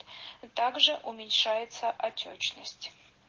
также уменьшается отёчность